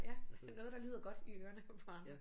Ja så noget der lyder godt i ørerne på andre